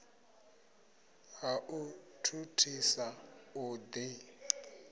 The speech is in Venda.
ha u thuthisa u ḓi